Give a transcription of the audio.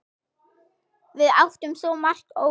Við áttum svo margt ógert.